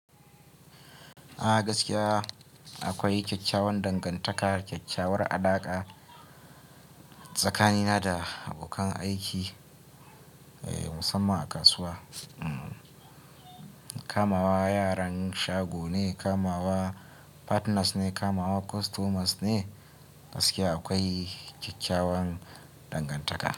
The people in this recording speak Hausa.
A gaskiya akwai kyawawan dangantaka, kyakyawar alaka tsakanina da abokan aiki, musamman a kasuwa. Kamawa yaran shago ne, kamawa partners ne, kamawa customers ne. Gaskiya akwai kyakkyawan dangantaka.